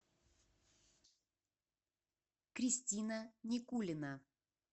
кристина никулина